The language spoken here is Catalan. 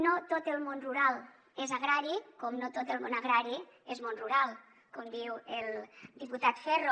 no tot el món rural és agrari com no tot el món agrari és món rural com diu el diputat ferro